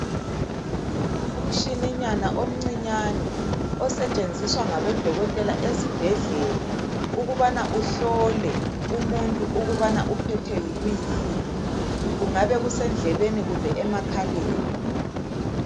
Umshininyana omncinyane osetshenziswa ngabodokotela ezibhedlela ukubana ahlole umuntu ukubana uphethwe yikuyini, kungabe kusendlebeni kumbe emakhaleni.